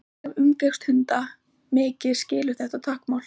fólk sem umgengst hunda mikið skilur þetta táknmál